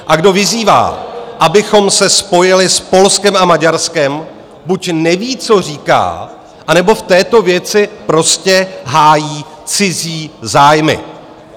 A kdo vyzývá, abychom se spojili s Polskem a Maďarskem, buď neví, co říká, anebo v této věci prostě hájí cizí zájmy.